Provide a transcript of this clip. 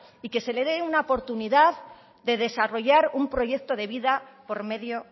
y que se le dé una oportunidad de desarrollar un proyecto de vida por medio